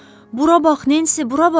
Bura bax, Nensi, bura bax!